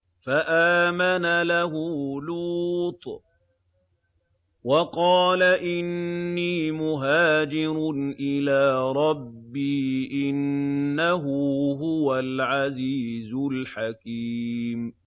۞ فَآمَنَ لَهُ لُوطٌ ۘ وَقَالَ إِنِّي مُهَاجِرٌ إِلَىٰ رَبِّي ۖ إِنَّهُ هُوَ الْعَزِيزُ الْحَكِيمُ